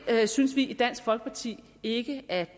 synes vi i dansk folkeparti ikke at